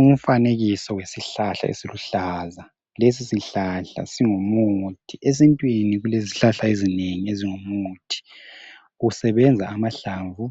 Umfanekiso wesihlahla eziluhlaza lesisihlahla singumuthi yesintwini kulezihlahla ezinengi ezingumuthi ukusebenza amahlamvu